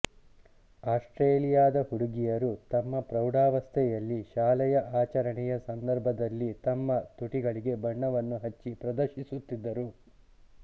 ಆಸ್ಟೇಲಿಯಾದ ಹುಡುಗಿಯರುತಮ್ಮ ಪ್ರೌಢಾವಸ್ಥೆಯಲ್ಲಿ ಶಾಲೆಯಆಚರಣೆಯ ಸಂದರ್ಭದಲ್ಲಿತಮ್ಮ ತುಟಿಗಳಿಗೆ ಬಣ್ಣವನ್ನು ಹಚ್ಚಿ ಪ್ರದರ್ಶಿಸುತ್ತಿದ್ದರು